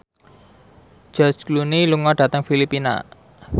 George Clooney lunga dhateng Filipina